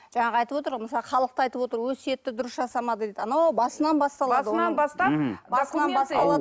жаңағы айтып отыр ғой мысалы халық та айтып отыр өсиетті дұрыс жасамады дейді анау басынан басталады